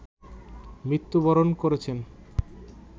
মৃত্যুবরণ করেছেন